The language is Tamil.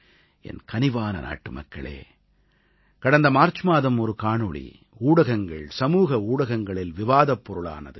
என் கனிவான நாட்டுமக்களே கடந்த மார்ச் மாதம் ஒரு காணொளி ஊடகங்கள் சமூக ஊடகங்களில் விவாதப் பொருளானது